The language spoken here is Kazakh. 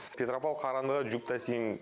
петропавл қарағандыға жүк тасимын